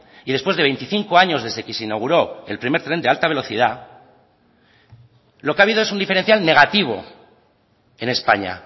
y después de veinticinco años desde que se inauguró el primer tren de alta velocidad lo que ha habido es un diferencial negativo en españa